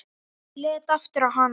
Ég leit aftur á hana.